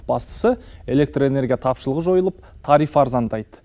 бастысы электр энергия тапшылығы жойылып тариф арзандайды